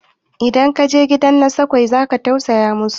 idan ka je gidan nakasassu za ka tausaya musu